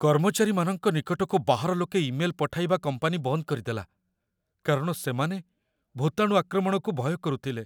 କର୍ମଚାରୀମାନଙ୍କ ନିକଟକୁ ବାହାର ଲୋକେ ଇମେଲ ପଠାଇବା କମ୍ପାନୀ ବନ୍ଦ କରିଦେଲା, କାରଣ ସେମାନେ ଭୂତାଣୁ ଆକ୍ରମଣକୁ ଭୟ କରୁଥିଲେ।